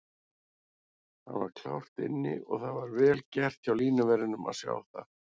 Hann var klárt inni og það var vel gert hjá línuverðinum að sjá það.